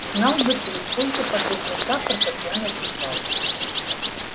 знал бы ты сколько подобных рапортов я написал